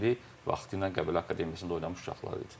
Vaxtilə Qəbələ Akademiyasında oynamış uşaqlar idi.